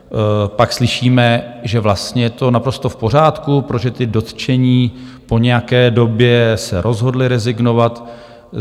Pak slyšíme, že vlastně je to naprosto v pořádku, protože ti dotčení po nějaké době se rozhodli rezignovat.